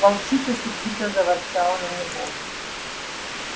волчица сердито заворчала на него